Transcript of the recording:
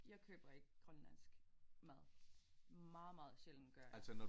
Jeg køber ikke grønlandsk mad meget meget sjældent gør jeg